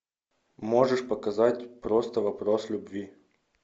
можешь показать просто вопрос любви